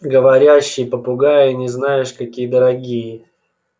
говорящие попугаи они знаешь какие дорогие